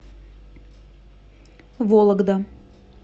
вологда